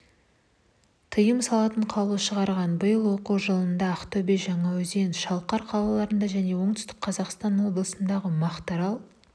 тыйым салатын қаулы шығарған биыл оқу жылындаақтөбе жаңаөзенмен шалқар қалаларында және оңтүстік қазақстан облысындағы мақтарал